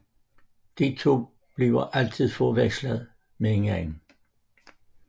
De to bliver altid forvekslet med hinanden